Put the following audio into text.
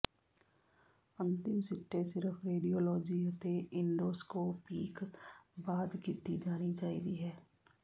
ਅੰਤਿਮ ਸਿੱਟੇ ਸਿਰਫ ਰੇਡੀਓਲੌਜੀ ਅਤੇ ਇੰਡੋਸਕੋਪੀਕ ਬਾਅਦ ਕੀਤੀ ਜਾਣੀ ਚਾਹੀਦੀ ਹੈ